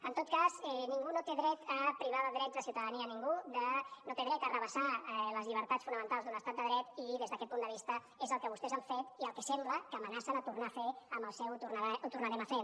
en tot cas ningú no té dret a privar de drets de ciutadania ningú no té dret a arrabassar les llibertats fonamentals d’un estat de dret i des d’aquest punt de vista és el que vostès han fet i el que sembla que amenacen a tornar a fer amb el seu ho tornarem a fer